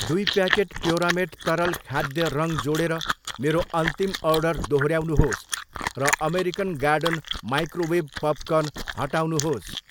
दुई प्याकेट प्योरामेट तरल खाद्य रङ जोडेर मेरो अन्तिम अर्डर दोहोऱ्याउनुहोस् र अमेरिकन गार्डन माइक्रोवेभ पपकर्न हटाउनुहोस्।